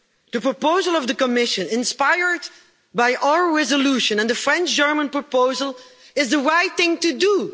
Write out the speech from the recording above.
The proposal of the Commission, inspired by our resolution and the French German proposal, is the right thing to do.